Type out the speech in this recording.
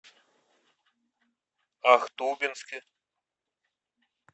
ахтубинске